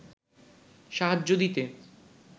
সাহায্য দিতে